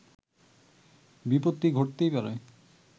বিপত্তি ঘটতেই পারে